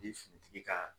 tigi ka